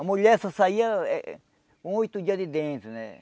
A mulher só saía eh um oito dias de dentro, né?